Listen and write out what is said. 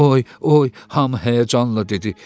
Oy, oy, hamı həyəcanla dedi.